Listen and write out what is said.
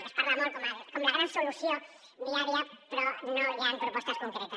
se’n parla molt com la gran solució viària però no hi han propostes concretes